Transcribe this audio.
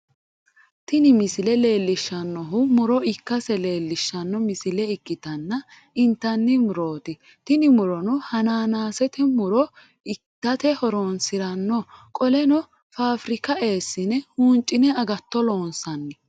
Tinni misile leelishanohu muro ikase leelishano misile ikitanna intanni murooti tinni murono hanaanaasete munu itate horoonsirano qoleno faafirika eesine huuncine agatto loonsanni.